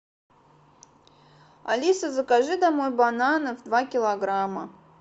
алиса закажи домой бананов два килограмма